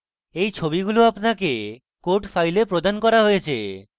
এই ছবিগুলি আপনাকে code files প্রদান করা হয়েছে